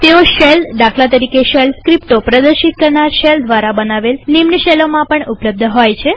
તેઓ શેલદાખલા તરીકે શેલ સ્ક્રિપ્ટો પ્રદર્શિત કરનાર શેલ દ્વારા બનાવેલ નિમ્ન શેલોમાં પણ ઉપલબ્ધ હોય છે